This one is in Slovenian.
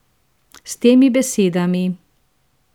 S temi besedami.